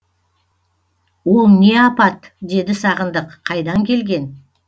ол не апат деді сағындық қайдан келген